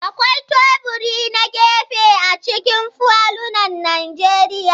Akwai teburi na gefe a cikin falunan Najeriya.